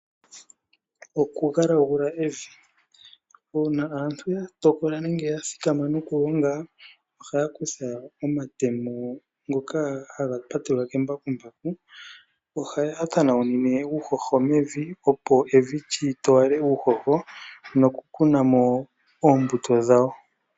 Okugalagula evi Uuna aantu ya tokola nenge ya thikama okulonga ohaya kutha omatemo ngoka haga patelwa kembakumbaku. Ohaya tanaunine uuhoho mevi, opo evi li towale uuhoho nokukuna mo oombuto dhawo.